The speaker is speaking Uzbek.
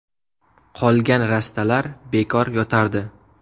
Qolgan rastalar bekor yotardi.